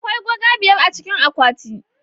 Akwai goga biyar a cikin akwati.